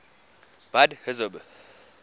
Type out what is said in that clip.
buddhism